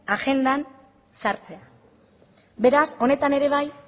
agendan sartzea beraz honetan ere bai